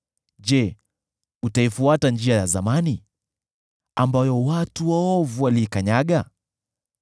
Je, utaifuata njia ya zamani, ambayo watu waovu waliikanyaga?